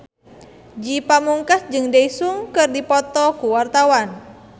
Ge Pamungkas jeung Daesung keur dipoto ku wartawan